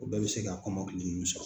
O bɛɛ bɛ se ka kɔmɔkili ninnu sɔrɔ